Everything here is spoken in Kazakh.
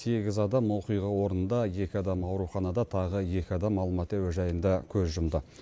сегіз адам оқиға орнында екі адам ауруханада тағы екі адам алматы әуежайында көз жұмды